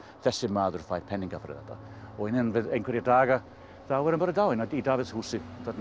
þessi maður fær peninga fyrir þetta og innan einhverra daga er hann bara dáinn í Davíðshúsi